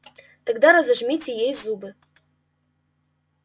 тогда разожмите ей зубы